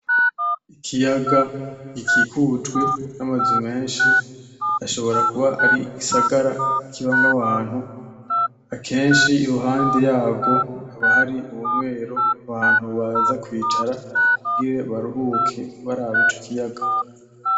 Ikiyaga gikikijwe n'amazu menshi ashobora kuba ari igisagara kibamwo abantu, akenshi iruhande yarwo haba hari umweru ahantu abantu baza kwicara kugira baruhuke baraba ico kiyaga.